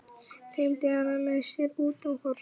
Teymdi hana með sér út á horn.